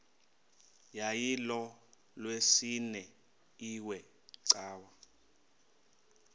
yayilolwesine iwe cawa